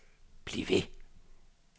bliv ved